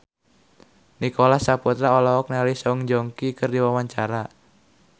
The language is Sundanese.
Nicholas Saputra olohok ningali Song Joong Ki keur diwawancara